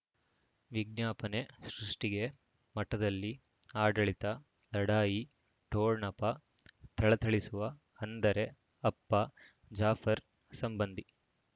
ವಿಜ್ಞಾಪನೆ ಸೃಷ್ಟಿಗೆ ಮಠದಲ್ಲಿ ಆಡಳಿತ ಲಢಾಯಿ ಠೊಣಪ ಥಳಥಳಿಸುವ ಅಂದರೆ ಅಪ್ಪ ಜಾಫರ್ ಸಂಬಂಧಿ